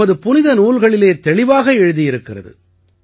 நமது புனித நூல்களில் தெளிவாக எழுதியிருக்கிறது